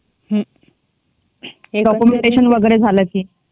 हे डॉक्युमेंटेशन वगैरे झालं की.